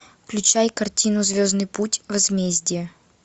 включай картину звездный путь возмездие